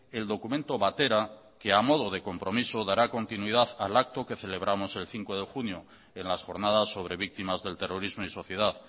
el documento batera que a modo de compromiso dará continuidad al acto que celebramos el cinco de junio en las jornadas sobre víctimas del terrorismo y sociedad